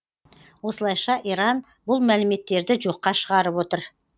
осылайша иран бұл мәліметтерді жоққа шығарып отыр